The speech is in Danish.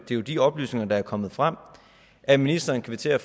jo de oplysninger der er kommet frem at ministeren kvitterer